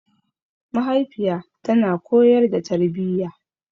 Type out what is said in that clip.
Mahaifiya tana koyar da tarbiyya.